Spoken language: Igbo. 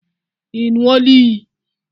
Ị ṅụọla iyi?